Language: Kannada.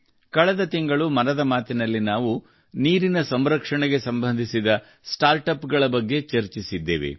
ಕಳೆದ ತಿಂಗಳು ಮನದ ಮಾತಿನಲ್ಲಿ ನಾವು ನೀರಿನ ಸಂರಕ್ಷಣೆಗೆ ಸಂಬಂಧಿಸಿದ ಸ್ಟಾರ್ಟ್ಅಪ್ಗಳ ಬಗ್ಗೆ ಚರ್ಚಿಸಿದ್ದೇವೆ